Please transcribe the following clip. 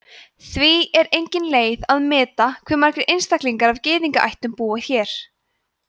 því er engin leið að meta hve margir einstaklingar af gyðingaættum búa hér